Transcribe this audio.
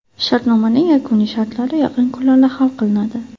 Shartnomaning yakuniy shartlari yaqin kunlarda hal qilinadi.